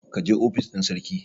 ka je ofis ɗin sarki!